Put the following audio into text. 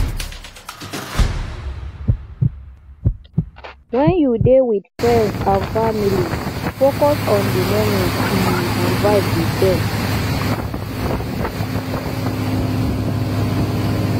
when you dey with friends and family focus on di moment um and vibe with dem